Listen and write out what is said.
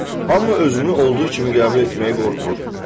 Hamı özünü olduğu kimi qəbul etməyə qorxur.